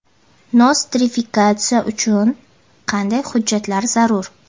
Nostrifikatsiya uchun qanday hujjatlar zarur?.